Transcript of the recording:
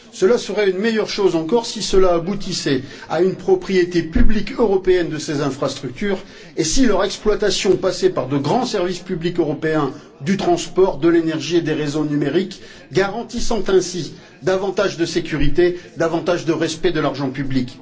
Ce serait une meilleure chose encore si cela aboutissait à une propriété publique européenne de ces infrastructures et si leur exploitation passait par de grands services publics européens du transport, de l'énergie et des réseaux numériques, garantissant ainsi davantage de sécurité et davantage de respect de l'argent public.